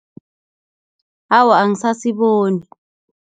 Awa, angisasiboni.